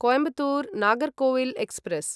Coimbatore Nagercoil express